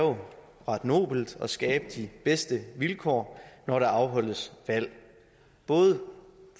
ret nobelt nemlig at skabe de bedste vilkår når der afholdes valg både